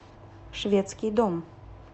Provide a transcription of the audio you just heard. шведский дом